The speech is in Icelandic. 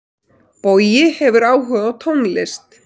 Bogi hefur áhuga á tónlist.